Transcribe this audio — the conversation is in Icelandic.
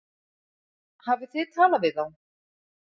Hafið þið talað við þá?